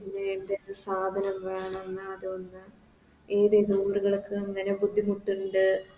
അതിന് എന്തൊക്കെ സാധനം വേണം അതൊന്ന് ബുദ്ധിമുട്ട്ണ്ട്